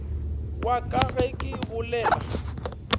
wa ka ge ke bolela